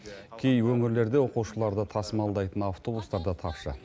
кей өңірлерде оқушыларды тасымалдайтын автобустар да тапшы